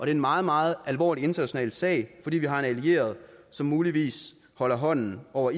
en meget meget alvorlig international sag fordi vi har en allieret som muligvis holder hånden over